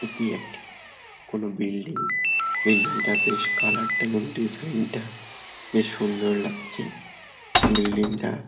এটি একটি কোনো বিল্ডিং বিল্ডিং -টা বেশ কালার -টা এবং ডিজাইন -টা বেশ সুন্দর লাগছে বিল্ডিং -টা--